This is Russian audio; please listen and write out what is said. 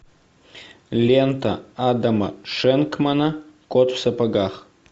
лента адама шенкмана кот в сапогах